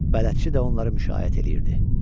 Bələdçi də onları müşayiət eləyirdi.